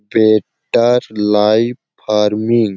better life farming --